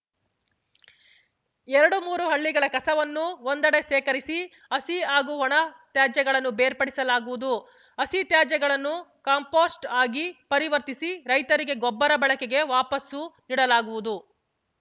ಎರಡುಮೂರು ಹಳ್ಳಿಗಳ ಕಸವನ್ನು ಒಂದೆಡೆ ಶೇಖರಿಸಿ ಹಸಿ ಹಾಗೂ ಒಣ ತ್ಯಾಜ್ಯಗಳನ್ನು ಬೇರ್ಪಡಿಸಲಾಗುವುದು ಹಸಿ ತ್ಯಾಜ್ಯವನ್ನು ಕಾಂಪೋಸ್ಟ್‌ ಆಗಿ ಪರಿವರ್ತಿಸಿ ರೈತರಿಗೆ ಗೊಬ್ಬರ ಬಳಕೆಗೆ ವಾಪಸು ನೀಡಲಾಗುವುದು